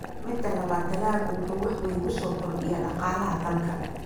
Midda labaad, dalaggu wuxuu wax weyn ku soo kordhinayaa dhaqaalaha dalka.